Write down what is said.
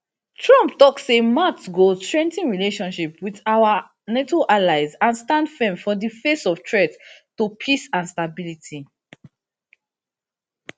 trump tok say matt go strengthen relationship wit our nato allies and stand firm for di face of threats to peace and stability